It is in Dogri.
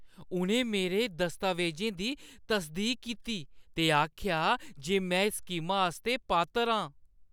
उʼनें मेरे दस्तावेजें दी तसदीक कीती ते आखेआ जे में इस स्कीमा आस्तै पात्तर है आं।